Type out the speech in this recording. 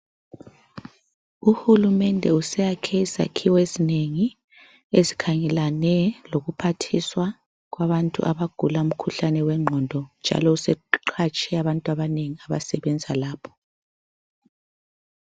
Uhulumende useyakhe izakhiwo ezinengi ezikhangelane lokuphathiswa kwabantu abagula umkhuhlane wenqondo njalo seqhatshe abantu abanengi abasebenza lapho.